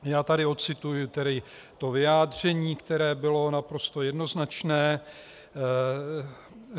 Já tady odcituji tedy vyjádření, které bylo naprosto jednoznačné.